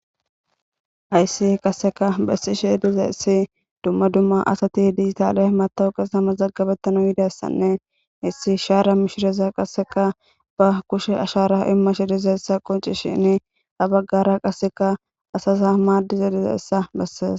Hayssi qasseka bessi sheediza issi dumma dumma asati hidiytaale matawuqe samas zaggabettanu yidayssanne hissi shaara mishireza qasseka ba kushe ashara imma she dizayssa qoncishinni abaggara qasseka asaza maaddiza dizayissa besses